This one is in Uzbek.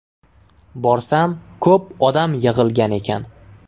Borsam, ko‘p odam yig‘ilgan ekan.